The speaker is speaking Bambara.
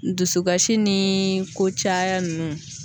Dusukasi ni kocaya ninnu.